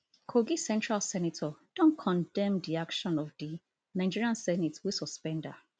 kogi central senator don condemn di action of di nigerian senate wey suspend her